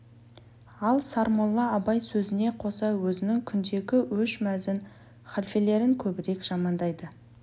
ал сармолла абай сөзіне қоса өзінің күндегі өш мәзін халфелерін көбірек жамандайды